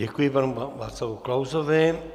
Děkuji panu Václavu Klausovi.